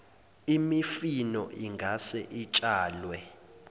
imifino ingase itshalwe